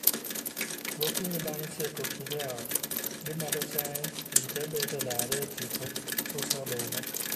Gokinyi bang' tieko tije ot, gi madho chai, ji tee bet e laro e tipo suso oduma